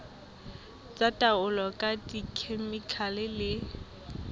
tsa taolo ka dikhemikhale le